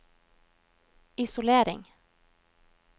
isolering